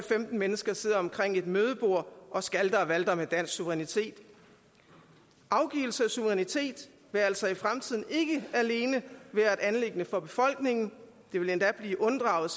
femten mennesker sidder omkring et mødebord og skalter og valter med dansk suverænitet afgivelse af suverænitet vil altså i fremtiden ikke alene være et anliggende for befolkningen det vil endda blive unddraget